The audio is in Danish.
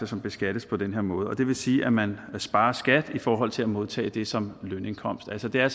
som beskattes på den her måde og det vil sige at man sparer skat i forhold til at modtage det som lønindkomst altså der